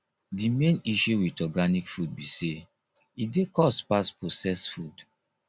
di main issue with organic food be sey e dey cost pass processed food